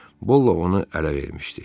Bolla onu ələ vermişdi.